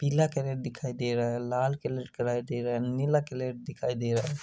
पीला कलर दिखाई दे रहा है लाल कलर दिखाई दे रहा है। लाल कलर दिखाई दे रहा है।